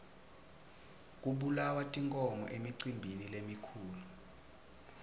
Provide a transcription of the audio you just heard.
kubulawa tinkhomo emicimbini lemikhulu